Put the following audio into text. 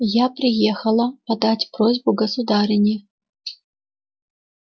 я приехала подать просьбу государыне